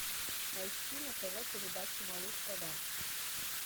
найти на тв передачу малыш тв